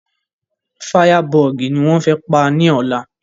Fáyábọọ̀gì ni wọ́n fẹ́ pa ní ọ̀la